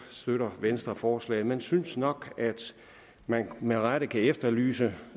støtter venstre forslaget men synes nok at man med rette kan efterlyse